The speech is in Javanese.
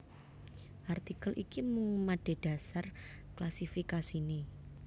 Artikel iki mung madhedhasar klasifikasiné